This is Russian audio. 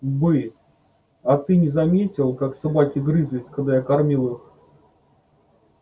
бы а ты не заметил как собаки грызлись когда я кормил их